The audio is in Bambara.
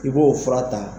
I b'o fura ta